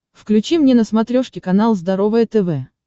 включи мне на смотрешке канал здоровое тв